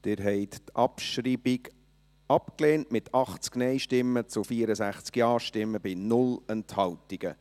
Sie haben die Abschreibung abgelehnt, mit 80 Nein- zu 64 Ja-Stimmen bei 0 Enthaltungen.